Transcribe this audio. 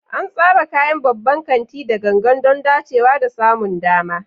An tsara kayan babban kanti da gangan don dacewa da samun dama.